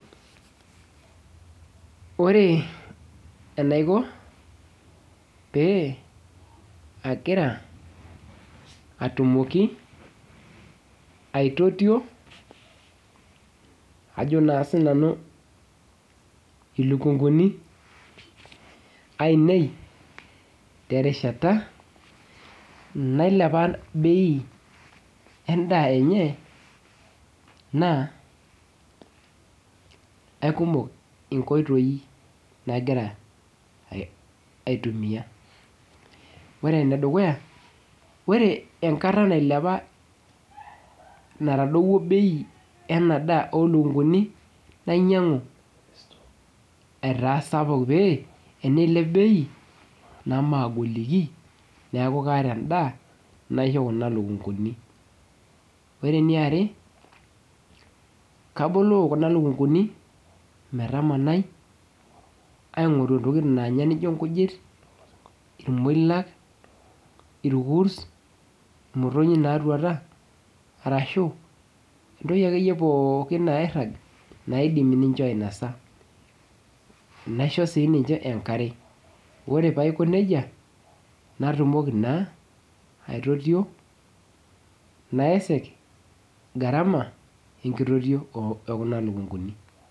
Ore enaiko pe agira atumoki aitotio ajo na sinanu ilikunguni aainei terishata nailepa bei endaa enye na aikumok nkoitoi nagira aitumia ore enedukuya ore enkata natadowuo bei enadaa olukunguni nainyangu esapuk metaa ore pilep beinamagoliki neaku kaata enda naisho kuna lukunguni ore eniare kabolo kuna lukunguni metananai aingoru entoki nanga nijo nkujit irkurs, imotonyi natwaatea naidim ninche ainosa.